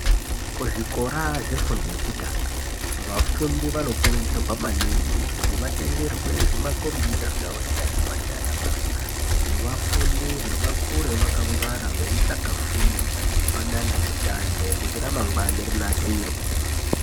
Kuzvikora zvefundo yekutanga vafundi vanokurudzirwa maningi kuti vatengerwe zvimakombiyuta zvavo ndianamai naanababa. Kuti vafundire, vakure vakangwara, veitsvaka fundo padandemutande. Kuti ramangwana ravo rinasirwe.